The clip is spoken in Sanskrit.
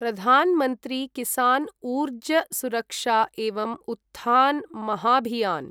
प्रधान् मन्त्री किसान् ऊर्ज सुरक्षा एवं उत्थान् महाभियान्